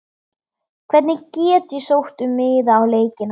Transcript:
Hvenær get ég sótt um miða á leikina?